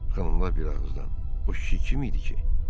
Xanımlar bir ağızdan o kişi kim idi ki?